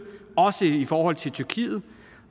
også i forhold til tyrkiet